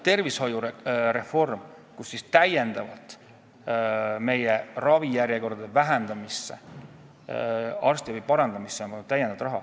Tervishoiureform: täiendavat raha on pandud meie ravijärjekordade lühendamisse ja arstiabi parandamisse.